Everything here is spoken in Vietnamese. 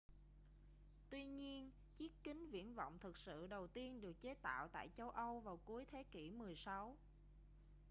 tuy nhiên chiếc kính viễn vọng thực sự đầu tiên được chế tạo tại châu âu vào cuối thế kỉ 16